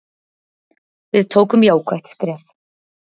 Við tókum jákvætt skref.